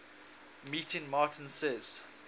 meeting martin says